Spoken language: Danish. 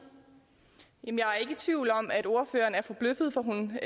tvivl om at ordføreren er forbløffet for hun